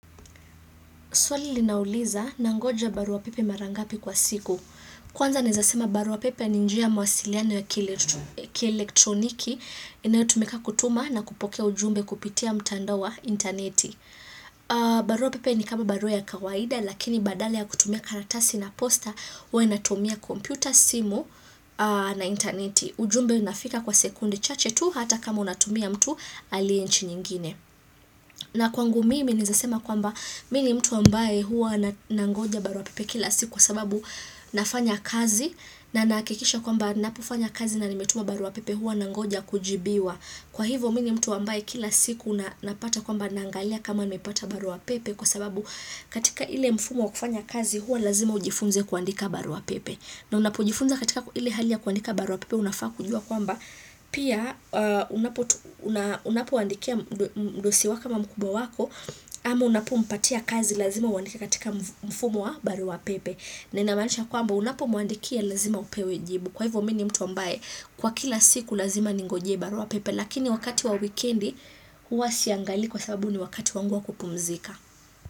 Swali linauliza, nangoja barua pepe mara ngapi kwa siku. Kwanza naweza sema barua pepe ni njia ya mawasiliano ya kielektroniki, inayotumika kutuma na kupokea ujumbe kupitia mtandao wa intaneti. Barua pepe ni kama barua ya kawaida, lakini badale ya kutumia karatasi na posta, huwa inatumia kompyuta, simu na intaneti. Ujumbe unafika kwa sekunde chache tu, hata kama unatumia mtu aliye nchi nyingine. Na kwangu mimi, naweza sema kwamba, Mimi ni mtu ambaye huwa nangoja barua pepe kila siku kwa sababu nafanya kazi na nahakikisha kwamba ninapofanya kazi na nimetuma barua pepe huwa nangoja kujibiwa Kwa hivyo mimi ni mtu ambaye kila siku napata kwamba naangalia kama nimepata barua pepe kwa sababu katika ile mfumo wa kufanya kazi huwa lazima ujifunze kuandika barua pepe na unapojifunza katika ile halia ya kuandika baru wa pepe unafaa kujuwa kwamba pia unapoandikia mdosi wako ama mkubwa wako ama unapompatia kazi lazima uandika katika mfumo wa baru wa pepe na inamaanisha kwamba unapomuandikia lazima upewe jibu kwa hivyo mimi nii mtu ambaye kwa kila siku lazima ningojee baru wa pepe lakini wakati wa wikendi huwa siangalii kwa sababu ni wakati wangu wa kupumzika.